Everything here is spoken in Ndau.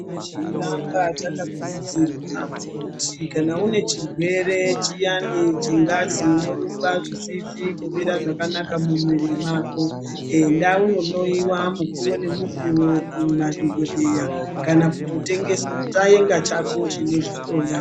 Tinoramba takakurudzirwa kuti kana une chirwere chiyani chengazi inorumba zvisisi kumira zvakanaka mumwiri mako. Enda unohloiwa mukuvo nemukuvo kumadhogodheya kana kutotengesa enga chako chinozvihloya.